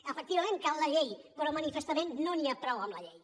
efectivament cal la llei però manifestament no n’hi ha prou amb la llei